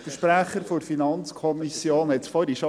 Der Sprecher der FiKo sagte es vorhin schon: